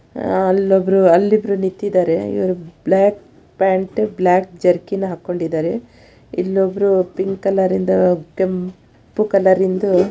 ಅಹ್ ಅಲ್ಲ ಒಬ್ಬರು ಅಲ್ಲಿ ಇಬ್ಬರು ನಿಂತಿದ್ದಾರೆ. ಇವ್ರು ಬ್ಲಾಕ್‌ ಪ್ಯಾಂಟ್‌ ಬ್ಲಾಕ್‌ ಜರ್ಕಿನ್‌ ಹಾಕಿಕೊಂಡಿದ್ದಾರೆ. ಇಲ್ಲಿ ಒಬ್ಬರು ಪಿಂಕ್‌ ಕಲರ್‌ ಯಿಂದ ಕೆಂಪು ಕಲರ್‌ ರಿಂದು --